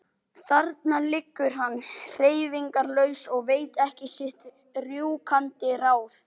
Þarna liggur hann hreyfingarlaus og veit ekki sitt rjúkandi ráð.